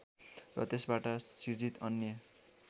र त्यसबाट सिर्जित अन्य